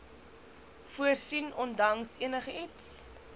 voorsien ondanks enigiets